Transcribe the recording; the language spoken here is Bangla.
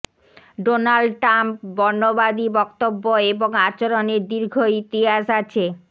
ডোনাল্ড ট্রাম্প বর্ণবাদী বক্তব্য এবং আচরণের দীর্ঘ ইতিহাস আছে